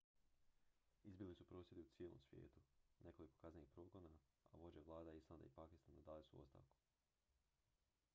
izbili su prosvjedi u cijelom svijetu nekoliko kaznenih progona a vođe vlada islanda i pakistana dali su ostavku